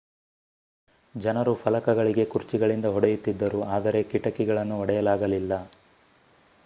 ಜನರು ಫಲಕಗಳಿಗೆ ಕುರ್ಚಿಗಳಿಂದ ಹೊಡೆಯುತ್ತಿದ್ದರು ಆದರೆ ಕಿಟಕಿಗಳನ್ನು ಒಡೆಯಲಾಗಲಿಲ್ಲ